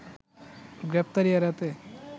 গ্রেপ্তারি এড়াতে